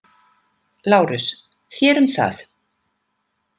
LÁRUS: Þér um það.